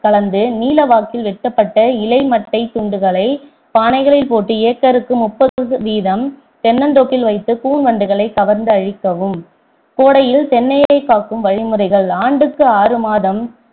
கலந்து நீள வாக்கில் வெட்டப்பட்ட இலை மட்டை துண்டுகளை பானைகளில் போட்டு acre க்கு முப்பது சதவீதம் தென்னந்தோப்பில் வைத்து கூன் வண்டுகளைக் கவர்ந்து அழிக்கவும் கோடையில் தென்னையை காக்கும் வழிமுறைகள் ஆண்டுக்கு ஆறு மாதம்